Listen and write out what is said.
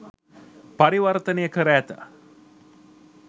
පරිවර්තනය කර ඇත.